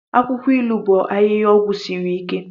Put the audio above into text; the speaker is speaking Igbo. Akwụkwọ ilu bụ ahịhịa ọgwụ siri ike.